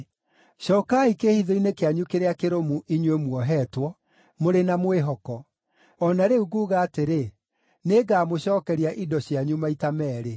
Cookai kĩĩhitho-inĩ kĩanyu kĩrĩa kĩrũmu, inyuĩ muohetwo mũrĩ na mwĩhoko; o na rĩu nguuga atĩrĩ, nĩngamũcookeria indo cianyu maita meerĩ.